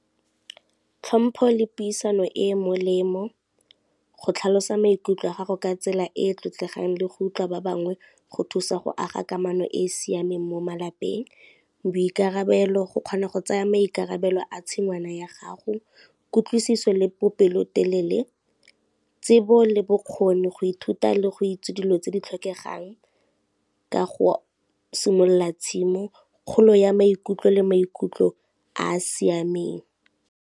Tlhompho le puisano e e molemo, go tlhalosa maikutlo a gago ka tsela e e tlotlegang le go utlwa ba bangwe go thusa go aga kamano e e siameng mo malapeng, boikarabelo go kgona go tsaya maikarabelo a tshingwana ya gago, kutlwisiso le bopelotelele, tsebo le bokgoni, go ithuta le go itse dilo tse di tlhokegang ka go simolola tshimo, kgolo ya maikutlo le maikutlo a a siameng.